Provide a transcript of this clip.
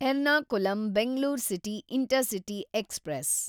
Ernakulam Bangalore city intercity express